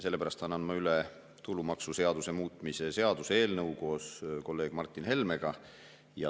Sellepärast annan ma koos kolleeg Martin Helmega üle tulumaksuseaduse muutmise seaduse eelnõu.